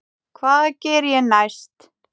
Hvað geri ég næst?